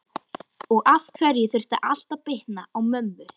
Og af hverju þurfti allt að bitna á mömmu?